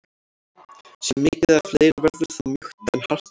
Sé mikið af leir verður það mjúkt en hart annars.